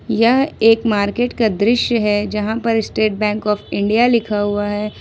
यह एक मार्केट का दृश्य है जहां पर स्टेट बैंक आफ इंडिया लिखा हुआ है।